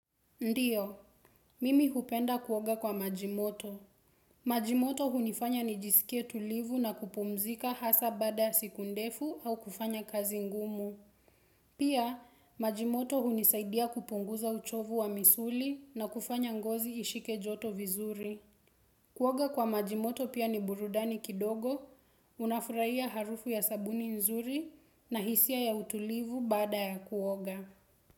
Ndiyo, mimi hupenda kuoga kwa maji moto. Majimoto hunifanya nijisikie tulivu na kupumzika hasa bada siku ndefu au kufanya kazi ngumu. Pia, majimoto hunisaidia kupunguza uchovu wa misuli na kufanya ngozi ishike joto vizuri. Kuoga kwa majimoto pia ni burudani kidogo, unafurahia harufu ya sabuni nzuri na hisia ya utulivu baada ya kuoga.